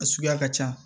A suguya ka can